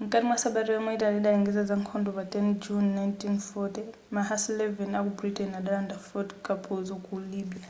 mkati mwa sabata yomwe italy idalengeza za nkhondo pa 10 juni 1940 ma hussar 11 aku britain adalanda fort cappuzo ku libya